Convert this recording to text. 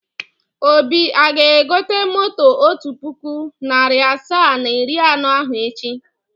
Obi aga-egote moto otu puku, narị asaa na iri anọ ahụ echi?